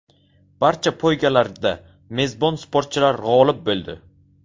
Barcha poygalarda mezbon sportchilar g‘olib bo‘ldi.